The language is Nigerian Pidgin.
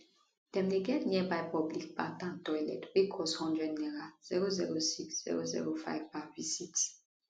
dem dey get nearby public bath and toilet wey cost one hundred naira 006 005 per visit